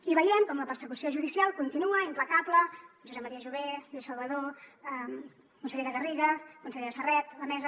i veiem com la persecució judicial continua implacable josep maria jové lluís salvadó consellera garriga consellera serret la mesa